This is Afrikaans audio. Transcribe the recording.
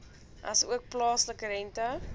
asook plaaslike rente